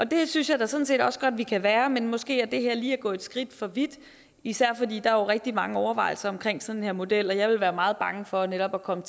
det synes jeg da sådan set også godt vi kan være men måske er det her lige at gå et skridt for vidt især fordi der jo er rigtig mange overvejelser omkring sådan en model jeg ville være meget bange for netop at komme